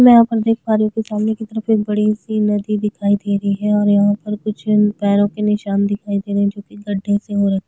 मैं यहाँ पर देख पा रही हूं सामने की तरफ एक बड़ी सी नदी दिखाई दे रही है और यहाँ पर कुछ पैरो के निशान दिखाई दे रखे है जो की गड्डे से हो रखे है।